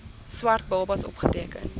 swart babas opgeteken